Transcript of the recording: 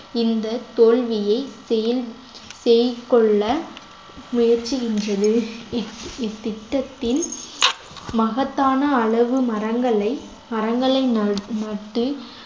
இந்த தோல்வியை செயல்~ செயல்கொள்ள முயற்சிகின்றது இத்~ இத்திட்டத்தின் மகத்தான அளவு மரங்களை மரங்களை ந~ நட்டு